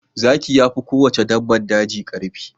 Zaki yafi kowace dabbar daji karfi.